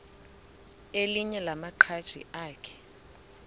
elinye lamaqhaji akhe